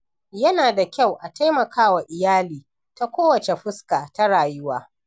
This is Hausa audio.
Yana da kyau a taimaka wa iyali, ta kowace fuska ta rayuwa.